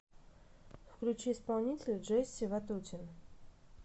включи исполнителя джесси ватутин